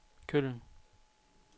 Køln